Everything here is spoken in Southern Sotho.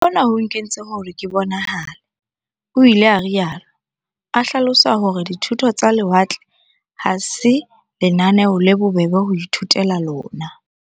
"Hona ho nkentse hore ke bonahale," o ile a rialo, a hlalosa hore di thuto tsa lewatle ha se lenaneo le bobebe ho ithutela lona.